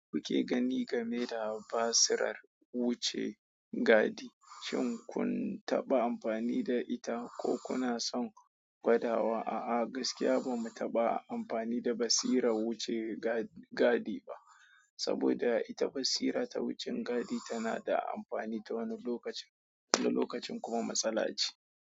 Kuke gani game da basirar wuce gadi, shin kun taɓa amfani da ita ko kuna son gwada wa? A'a, gaskiya ba mu taɓa amfani da basirar wuce gadi ba, saboda ita basira ta wucin gadi tana da amfani ta wani lokacin, wani lokacin kuma matsala ce.